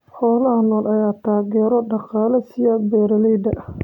Xoolaha nool ayaa taageero dhaqaale siiya beeralayda.